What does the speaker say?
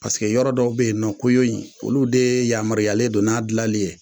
Paseke yɔrɔ dɔw be yen nɔn ko y'o ye in olu de yamaruyalen don n'a gilanlen ye